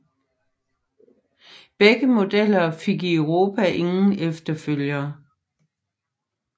Begge modeller fik i Europa ingen efterfølger